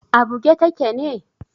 A buge take ne?